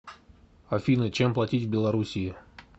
афина чем платить в белоруссии